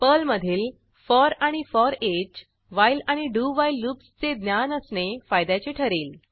पर्लमधील फॉर आणि for each while आणि डू व्हाईल लूप्सचे ज्ञान असणे फायद्याचे ठरेल